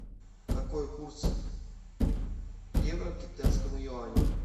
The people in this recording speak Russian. какой курс евро к китайскому юаню